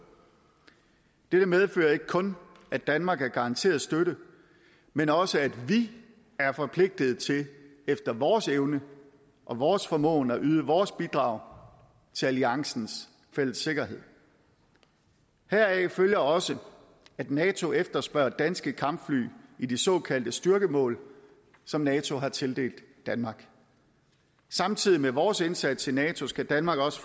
dette medfører ikke kun at danmark er garanteret støtte men også at vi er forpligtet til efter vores evne og vores formåen at yde vores bidrag til alliancens fælles sikkerhed heraf følger også at nato efterspørger danske kampfly i de såkaldte styrkemål som nato har tildelt danmark samtidig med vores indsats i nato skal danmark også